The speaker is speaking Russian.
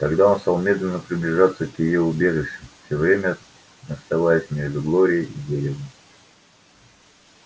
тогда он стал медленно приближаться к её убежищу всё время оставаясь между глорией и деревом